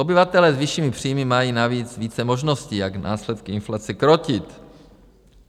Obyvatelé s vyššími příjmy mají navíc více možností, jak následky inflace krotit.